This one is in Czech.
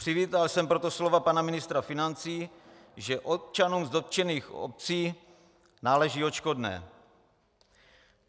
Přivítal jsem proto slova pana ministra financí, že občanům z dotčených obcí náleží odškodné.